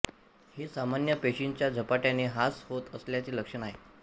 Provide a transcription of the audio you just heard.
हे सामान्य पेशींचा झपाट्याने हास होत असल्याचे लक्षण आहे